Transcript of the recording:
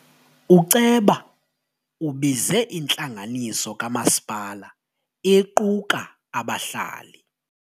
Uceba ubize intlanganiso kamasipala equka abahlali.